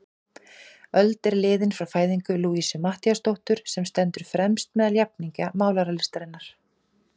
Öld er liðin frá fæðingu Louisu Matthíasdóttur, sem stendur fremst meðal jafningja málaralistarinnar.